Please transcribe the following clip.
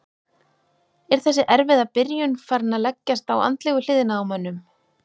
Er þessi erfiða byrjun farin að leggjast á andlegu hliðina á mönnum?